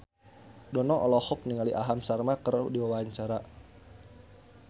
Dono olohok ningali Aham Sharma keur diwawancara